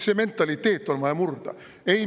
See mentaliteet on vaja murda.